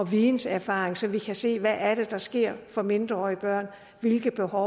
videnserfaring så vi kan se hvad det er der sker for mindreårige børn hvilke behov